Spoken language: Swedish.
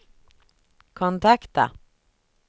kontakta